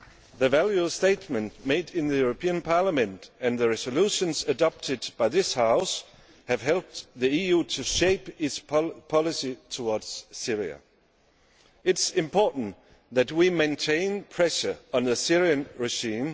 The valued statements made in the European Parliament and the resolutions adopted by this House have helped the EU to shape its policy towards Syria. It is important that we maintain pressure on the Syrian regime.